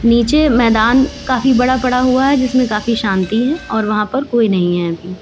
नीचे मैदान काफी बड़ा पड़ा हुआ है जिसमें काफी शांति है और वहां पर कोई नहीं है अभी।